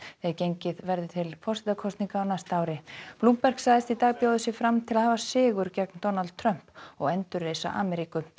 þegar gengið verði til forsetakosninga á næsta ári Bloomberg sagðist í dag bjóða sig fram til að hafa sigur gegn Donald Trump og endurreisa Ameríku